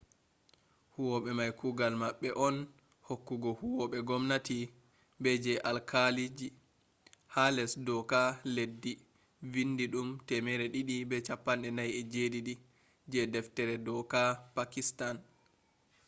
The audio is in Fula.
howube mai kugal mabbe on hokkugo huwobe gomnati be je alkaaliji ha les dooka leddi vindidum 247 je deftere dooka pakitan